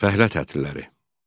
Fəhlə tətilləri.